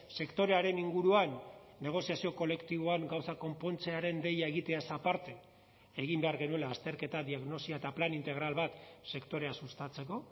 sektorearen inguruan negoziazio kolektiboan gauzak konpontzearen deia egiteaz aparte egin behar genuela azterketa diagnosia eta plan integral bat sektorea sustatzeko